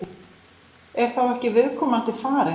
Er þá ekki viðkomandi farin?